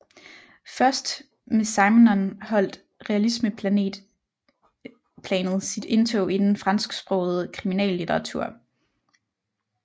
Først med Simenon holdt realismeplanet sit indtog i den fransksprogede kriminallitteratur